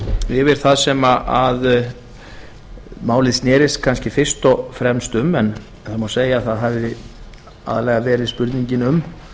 yfir það sem málið snerist kannski fyrst og fremst um en það má segja að það hafi aðallega verið spurningin um